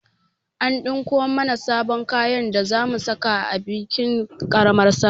An ɗinko mana sabon kayan da zamu saka a bikin ƙaramar salla